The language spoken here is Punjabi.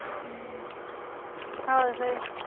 ਹਮ ਹੋਰ ਫਿਰ